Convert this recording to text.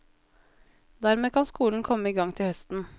Dermed kan skolen komme i gang til høsten.